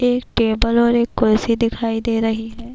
ایک ٹیبل اور ایک کرسی دکھایی دے رہی ہے-